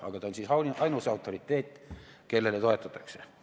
Aga ta on ainus autoriteet, kellele toetutakse.